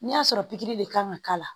N'i y'a sɔrɔ pikiri de kan ka k'a la